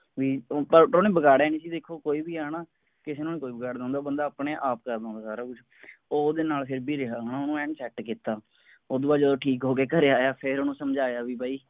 ਵੀ ਓਰ ਓਹਨੇ ਵਿਗਾੜਿਆ ਨਹੀਂ ਸੀ ਦੇਖੋ ਕੋਈ ਵੀ ਹੈ ਨਾ ਕਿਸੇ ਨੂੰ ਨਹੀਂ ਕੋਈ ਵਿਗੜਦਾ ਹੁੰਦਾ ਉਹ ਬੰਦਾ ਓਹਨੇ ਆਪ ਕਰਨਾ ਸਾਰਾ ਕੁਝ ਉਹ ਓਹਦੇ ਨਾਲ ਫਿਰ ਵੀ ਰਿਹਾ ਹੈ ਨਾ ਓਹਨੂੰ ਐਨ ਕੀਤਾ ਉਸਤੋਂ ਬਾਅਦ ਠੀਕ ਹੋ ਕੇ ਜਦੋਂ ਘਰੇ ਆਇਆ ਫੇਰ ਓਹਨੂੰ ਸਮਝਾਇਆ ਵੀ ਬਾਈ